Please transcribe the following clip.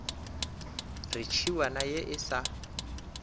re tšhiwana ye e sa